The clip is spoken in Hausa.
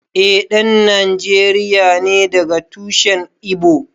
Eh ɗan Nijeriya ne daga tushen Igbo